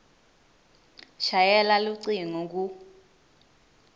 shayela lucingo ku